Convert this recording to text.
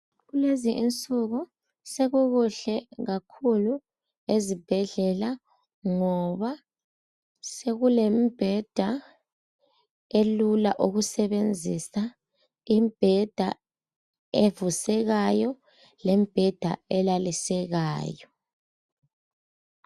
Kulezinsuku sekukuhle kakhulu ezibhedlela ngoba sekulembheda elula ukusebenzisa imbheda evusekayo lembheda elalisekayo.